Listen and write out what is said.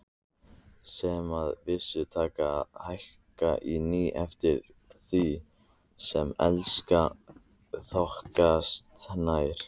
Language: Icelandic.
Sem að vísu taka að hækka á ný eftir því sem Elskan þokast nær.